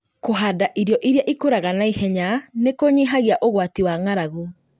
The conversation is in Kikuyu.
Kũhanda irio irĩa ikũraga naihenya nĩkũnyihagia ũgwati wa ng'arang'u